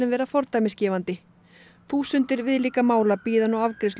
verið fordæmisgefandi þúsundir viðlíka mála bíða nú afgreiðslu